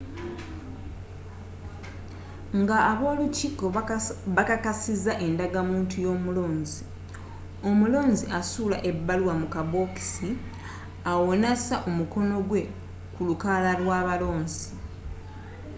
nga aba olukiiko bakakasizza endagamuntu y'omulonzi omulonzi asuula ebbaluwa mu kabokisi awo nassa omukono gwe ku lukalala lw'abalonzi